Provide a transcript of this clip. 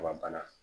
Ka bana